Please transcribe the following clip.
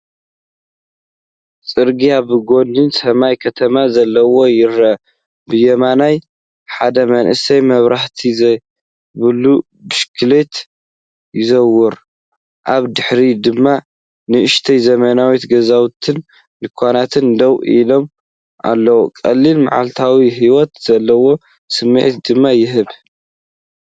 ጽርግያ፡ ብጐድኑ ሰማይ ከተማ ዘለዎ፡ ይርአ። ብየማን፡ ሓደ መንእሰይ መብራህቲ ዘይብሉ ብሽክለታ ይዝውር፡ ኣብ ድሕሪት ድማ ንኣሽቱ ዘመናዊ ገዛውትን ድኳናትን ደው ኢሎም ኣለዉ። ቀሊል መዓልታዊ ህይወት ዘለዎ ስምዒት ድማ ይህቦ።